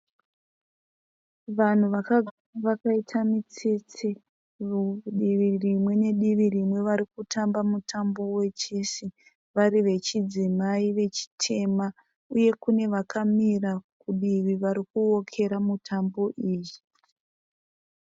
Vanhu vakagara vakaita mitsetse divi rimwe nedivi rinwe varikutamba mutambo we chesi varí vechidzimai vechitema. Uye kune vakamira kudivi vari kuokera mutambo iyi.